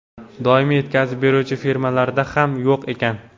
Doimiy yetkazib beruvchi firmalarda ham yo‘q ekan.